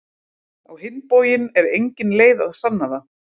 Á hinn bóginn er engin leið að sanna það.